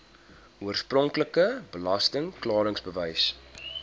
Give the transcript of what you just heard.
oorspronklike belasting klaringsbewys